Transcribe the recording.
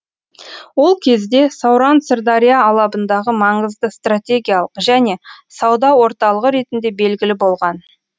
ол кезде сауран сырдария алабындағы маңызды стратегиялық және сауда орталығы ретінде белгілі болған